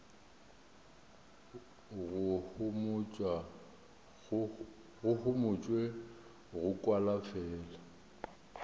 go homotšwe go kwala fela